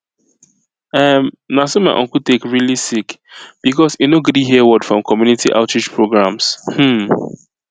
erm na so my uncle take really sick because e no gree hear word from community outreach programs um